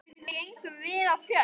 Var hún falleg?